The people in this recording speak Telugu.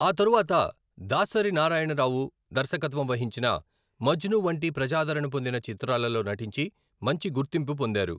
ఆ తరువాత దాసరి నారాయణరావు దర్శకత్వం వహించిన మజ్ను వంటి ప్రజాదరణ పొందిన చిత్రాలలో నటించి మంచి గుర్తింపు పొందారు.